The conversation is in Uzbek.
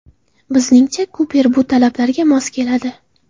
Bizningcha, Kuper bu talablarga mos keladi.